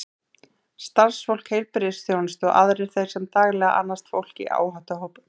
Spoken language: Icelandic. Starfsfólk heilbrigðisþjónustu og aðrir þeir sem daglega annast fólk í áhættuhópum.